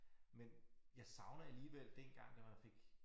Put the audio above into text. Men jeg savner alligevel dengang da man fik